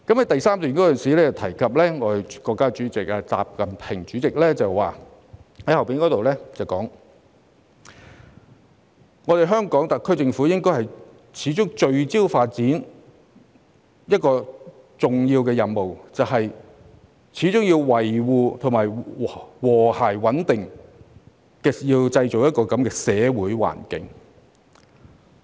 第3段提到國家主席習近平曾發表的講話，指香港特區政府應該"始終聚焦發展這個第一要務、始終維護和諧穩定的社會環境"。